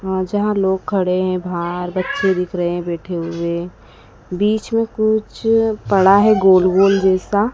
अह यहां लोग खड़े हैं बाहर बच्चे दिख रहे हैं बैठे हुए बीच में कुछ पड़ा है गोल गोल जैसा।